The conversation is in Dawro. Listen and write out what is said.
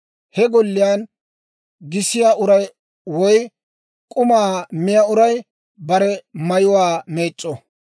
He golliyaan gisiyaa uray woy k'umaa miyaa uray bare mayuwaa meec'c'o.